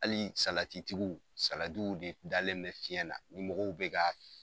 Hali salatitigiw, salatiw de dalen bɛ fiɲɛ na , mɔgɔw bɛ k'a